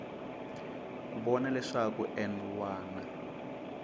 ku vona leswaku n wana